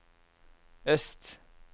øst